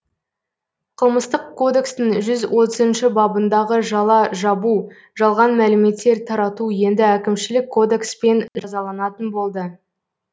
қылмыстық кодекстің жүз отызыншы бабындағы жала жабу жалған мәліметтер тарату енді әкімшілік кодекспен жазаланатын болды